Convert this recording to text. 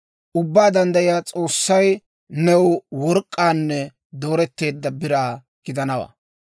Ubbaa Danddayiyaa S'oossay new work'k'aanne dooretteedda biraa gidanawaa.